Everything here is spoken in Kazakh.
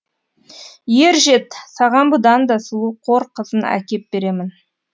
ер жет саған бұдан да сұлу қор қызын әкеп беремін